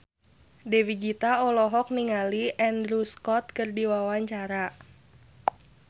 Dewi Gita olohok ningali Andrew Scott keur diwawancara